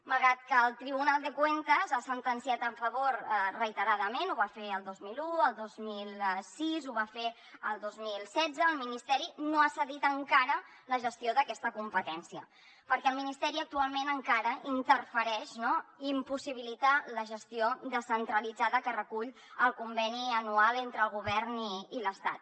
malgrat que el tribunal de cuentas hi ha sentenciat a favor reiterada·ment ho va fer el dos mil un el dos mil sis ho va fer el dos mil setze el ministeri no ha cedit encara la gestió d’aquesta competència perquè el ministeri actualment encara interfereix i impossibilita la gestió descentralitzada que recull el conveni anual entre el govern i l’estat